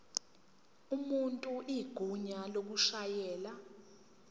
umuntu igunya lokushayela